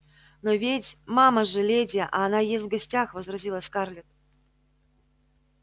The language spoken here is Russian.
но ведь мама же леди а она ест в гостях возразила скарлетт